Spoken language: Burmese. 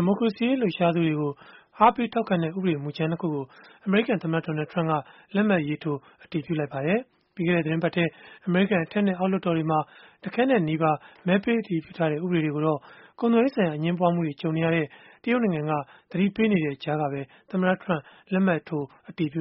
ီမိုကရေစီရေး လှုပ်ရှားသူတွေကို အားပေးထောက်ခံတဲ့ ဥပဒေမူကြမ်း ၂ ခုကို အမေရိကန်သမ္မတ Donald Trump က လက်မှတ်ရေးထိုး အတည်ပြုလိုက်ပါတယ်။ ပြီးခဲ့တဲ့ သီတင်းပတ်ထဲ အမေရိကန် အထက်နဲ့ အောက်လွှတ်တော်တွေမှာ တခဲနက်နီးပါး မဲပေးအတည်ပြုထားတဲ့ ဥပဒေတွေကိုတော့ ကုန်သွယ်ရေးဆိုင်ရာ အငြင်းပွားမှုတွေ ကြုံနေရတဲ့ တရုတ်နိုင်ငံက သတိပေးနေတဲ့ ကြားကပဲ သမ္မတ Trump လက်မှတ်ထိုး